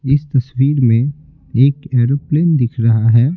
इस तस्वीर में एक एरोप्लेन दिख रहा है।